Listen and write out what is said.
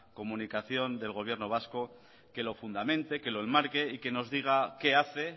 comunicación del gobierno vasco que lo fundamente que lo enmarque y que nos diga qué hace